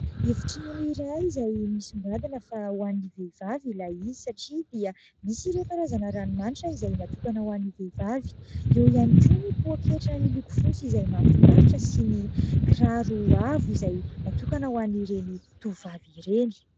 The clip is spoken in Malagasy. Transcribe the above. Efitrano iray izay misongadina fa ho an'ny vehivavy ilay izy satria dia misy ireo karazana ranomanitra izay natokana ho an'ny vehivavy. Eo ihany koa ny poaketra miloko fotsy izay mahafinaritra sy ny kiraro avo izay natokana ho an'ireny tovovavy ireny.